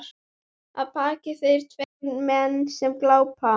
Að baki þér tveir menn sem glápa.